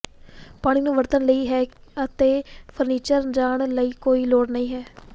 ਪਾਣੀ ਨੂੰ ਵਰਤਣ ਲਈ ਹੈ ਅਤੇ ਫਰਨੀਚਰ ਜਾਣ ਲਈ ਕੋਈ ਲੋੜ ਨਹੀ ਹੈ